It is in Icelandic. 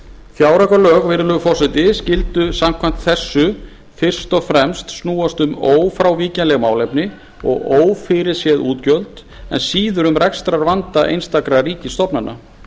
fjáraukalög skyldu samkvæmt þessu fyrst og fremst snúast um ófrávíkjanleg málefni og ófyrirséð útgjöld en síður um rekstrarvanda einstakra ríkisstofnana